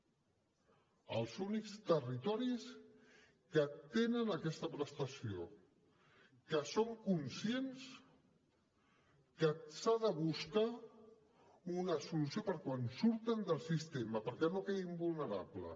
són els únics territoris que tenen aquesta prestació que són conscients que s’ha de buscar una solució per a quan surten del sistema perquè no quedin vulnerables